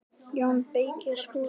JÓN BEYKIR: Skúli?